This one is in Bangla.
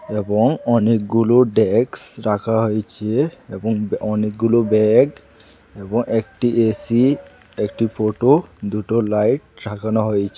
এবং অনেকগুলো ডেক্স রাখা হয়েছে এবং অনেকগুলো ব্যাগ এবং একটি এ_সি একটি ফটো দুটো লাইট রাখানো হয়েছে।